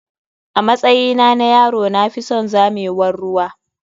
Amatsyina na yaro na fison zamewar ruwa.